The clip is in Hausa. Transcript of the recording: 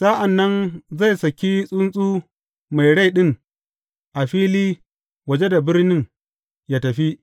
Sa’an nan zai saki tsuntsu mai rai ɗin a fili waje da birnin ya tafi.